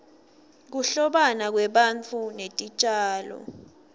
kuhlobana kwebantfu netitjalo